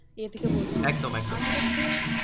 ইয়ে থেকে বলছি আমার কাছে